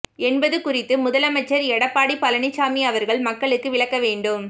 என்பது குறித்து முதலமைச்சர் எடப்பாடி பழனிச்சாமி அவர்கள் மக்களுக்கு விளக்க வேண்டும்